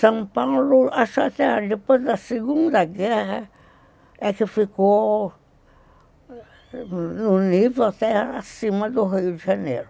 São Paulo, acho até depois da Segunda Guerra, é que ficou no nível, até acima do Rio de Janeiro.